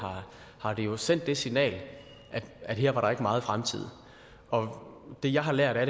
har det jo sendt det signal at her var der ikke meget fremtid det jeg har lært af